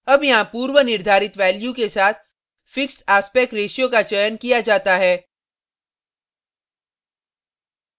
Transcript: अब यहाँ पूर्वनिर्धारित value के साथ fixed aspect ratio का चयन किया जाता है